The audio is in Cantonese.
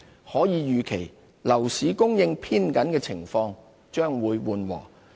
可以預期，樓市供應偏緊的情況將會緩和。